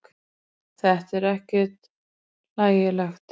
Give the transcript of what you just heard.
Þetta er ekkert hlægilegt.